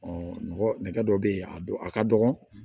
nɔgɔ nɛgɛ dɔ be yen a don a ka dɔgɔn